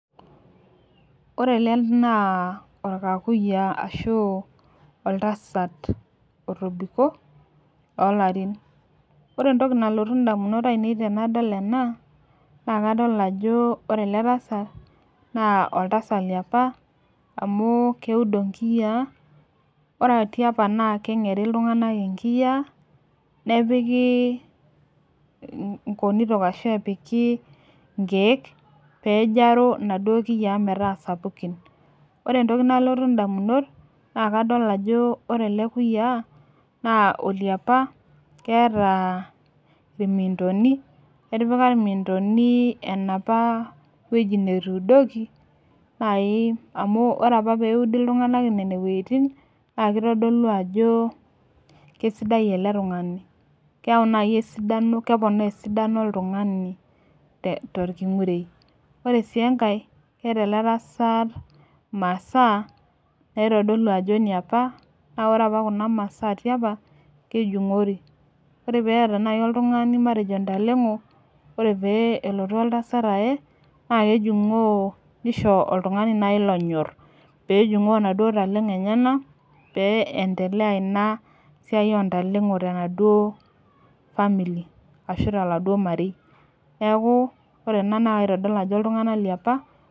Ore ele naa orkakuyia ashu oltasat otobiko too larin. Ore entoki nalotu ndamunot ainei tenadol ena naa kadol ajo ore ele tasat naa oltasat liapa amu keudo inkiyaa. Ore tiapa naa keng'eri iltung'anak inkiyaa nepikii nkonitok ashu epiki nkeek peejaro inaduo kiyaa metaa sapukin. Ore entoki nalotu indamunot naa kadol ajo ore ele kuyiaa naa ole apa keeta irmintoni, etipika irmintoni enapa wueji netuudoki nai amu ore apa peudi iltung'anak nene wueitin naake itodolu ajo kesidai ele tung'ani keeu nai esidano, keponaa esidano oltung'ani te torking'urei. Ore sii enkae keeta ele tasat imasaa naitodolu ajo iniapa naa ore apa kuna masaa tiapa kejung'ori. Ore peeta nai oltung'ani matejo intaleng'o ore pee elotu oltasat aaye naake ejung'oo nisho oltung'ani nai lonyor peejung'oo naduo taleng'o enyenak peeentelea ina siai oo ntaleng'o tenaduo family ashu toloduo marei. Neeku ore ena naitadol ajo iltung'anak liapa.